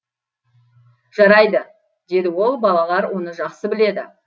жарайды деді ол балалар оны жақсы біледі